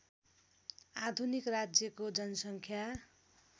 आधुनिक राज्यको जनसङ्ख्या